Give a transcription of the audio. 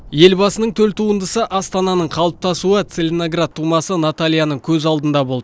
елбасының төл туындысы астананың қалыптасуы целиноград тумасы натальяның көз алдында болды